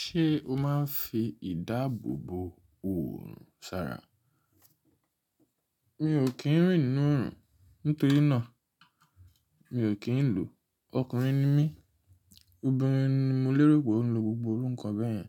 Ṣé o máa ń fi ìdáàbòbò òrun sára? Mi ò kí ń rìn nínú òrùn, nítorí náà mi ò kí ń lo o. Ọkùnrin ni mí, obìnrin ni mo lérò pé ó ń lo gbogbo irúkàn bẹ́ẹ̀ yẹn.